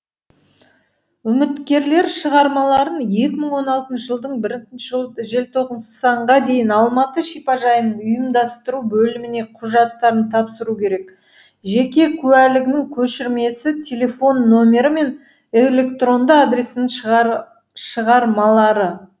үміткерлер шығармаларын екі мың он алтыншы жылдың бірінші желтоқсанға дейін алматы шипажайының ұйымдастыру бөліміне құжаттарын тапсыру керек жеке куәлігінің көшірмесі телефон нөмірі мен электронды адресін шығармалары